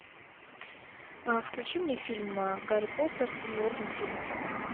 включи мне фильм гарри поттер и орден феникса